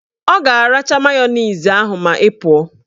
Ọ ga-aracha mayonezi ahụ ma ị pụọ